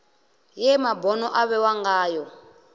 ye mabono a vhewa ngayo